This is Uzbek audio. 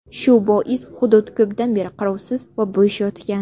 Shu bois hudud ko‘pdan beri qarovsiz va bo‘sh yotgan.